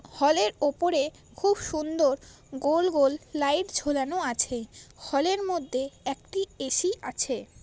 হলের ওপরে খুব সুন্দর গোল গোল লাইট ঝোলানো আছে। হলের মধ্যে একটি এ.সি. আছে।